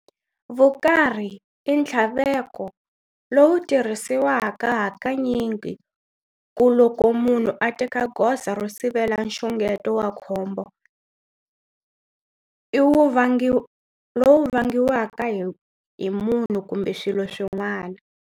Vukarhi i nthlaveko lowu tarhisiwaka hakanyingi ku loko munhu a teka goza ro sivela nxungeto wa khombo lwu vangiwaka hi munhu kumbe swilo swin'wana.